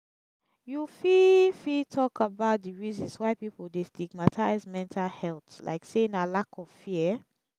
you fit fit talk about di reasons why people dey stigmatize mental health like say na lack of fear?